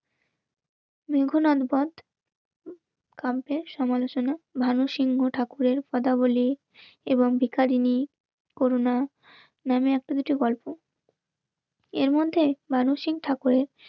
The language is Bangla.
সমালোচনা, ভানু সিংহ ঠাকুরের কথা বলি এবং ভিখারিনী করুনা নামে একটা কিছু গল্প. এর মধ্যে মানসিক ঠাকুরের